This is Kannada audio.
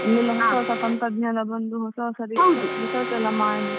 ಅಲ್ಲೆಲ್ಲ ಹೊಸ ಹೊಸ ತಂತ್ರಜ್ಞಾನ ಬಂದು ಹೊಸ ಹೊಸ research ಎಲ್ಲ ಮಾಡಿ.